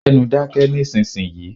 Gbẹ́nu dáké nísìsi yìí.